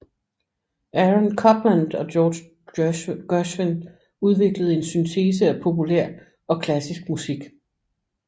Aaron Copland og George Gershwin udviklede en syntese af populær og klassisk musik